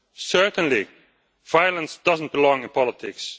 Certainly, violence does not belong in politics.